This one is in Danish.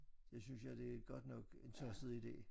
Det synes jeg det er godt nok en tosset ide